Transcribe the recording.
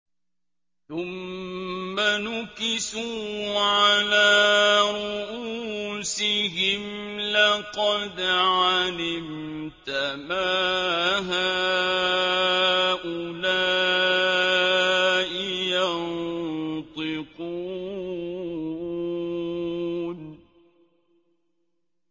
ثُمَّ نُكِسُوا عَلَىٰ رُءُوسِهِمْ لَقَدْ عَلِمْتَ مَا هَٰؤُلَاءِ يَنطِقُونَ